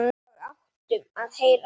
Og áttum að heyra það.